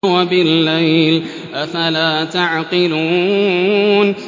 وَبِاللَّيْلِ ۗ أَفَلَا تَعْقِلُونَ